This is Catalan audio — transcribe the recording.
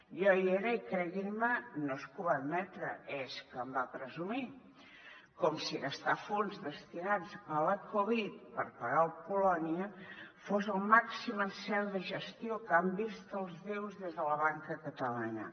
jo hi era i creguin me no és que ho va admetre és que en va presumir com si gastar fons destinats a la covid per pagar el polònia fos el màxim encert de gestió que han vist els déus des de la banca catalana